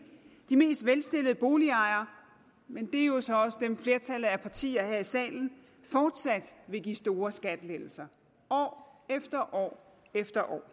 de mest velstillede boligejere men det er jo så også dem flertallet af partierne her i salen fortsat vil give store skattelettelser år efter år efter år